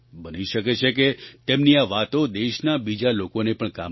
બની શકે છે કે તેમની આ વાતો દેશના બીજા લોકોને પણ કામમાં આવે